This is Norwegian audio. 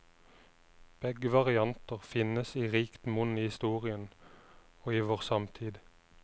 Begge varianter finnes i rikt monn i historien, og i vår samtid.